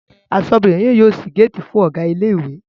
Aṣọ́bọdè náà yóò ṣí géètì fún Ọ̀gá ilé ìwé